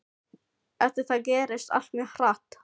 Eftir það gerðist allt mjög hratt.